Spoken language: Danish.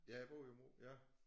Ja jeg bor i ja